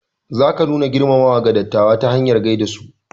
Zaka nuna girmamawa ga dattawa ta hanyar gaida su.